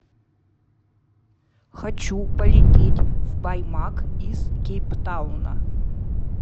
хочу полететь в баймак из кейптауна